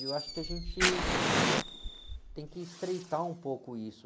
E eu acho que a gente tem que estreitar um pouco isso.